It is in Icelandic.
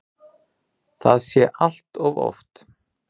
Það sé allt of oft.